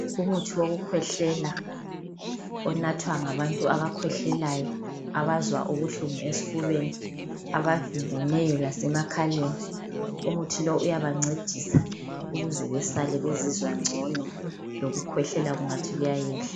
Umuthi wokukhwehlela onathwa ngabantu abakhwehlelayo abazwa ubuhlungu esfubeni abavimbeneyo alase makhaleni umuthi lo uyabancedisa ukuze besale bezizwa ngcono lokukhwehlela kungathi kuyayehla